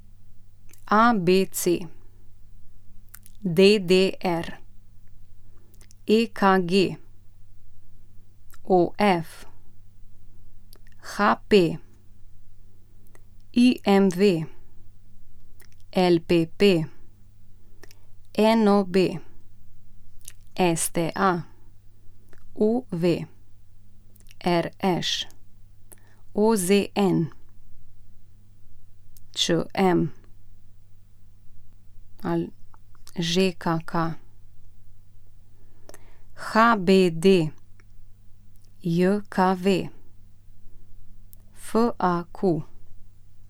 ABC, DDR, EKG, OF, HP, IMV, LPP, NOB, STA, UV, RŠ, OZN, ČM, ŽKK, HBDJKV, FAQ.